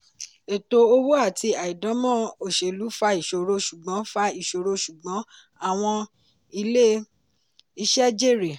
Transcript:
ẹ̀tọ́ owó àti àìdáǹmọ̀ oselú fa ìṣòro ṣùgbọ́n fa ìṣòro ṣùgbọ́n àwọn ilé-iṣẹ́ jèrè.